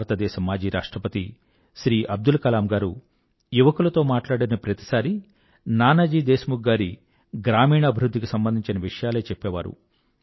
భారతదేశ మాజీ రాష్ట్రపతి శ్రీ అబ్దుల్ కలాం గారు యువకులతో మాట్లాడిన ప్రతిసారీ నానాజీ దేశ్ ముఖ్ గారి గ్రామీణ అభివృధ్ధికి సంబంధించిన విషయాలే చెప్పేవారు